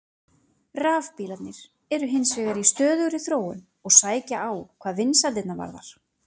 Rafbílarnir eru hins vegar í stöðugri þróun og sækja á hvað vinsældirnar varðar.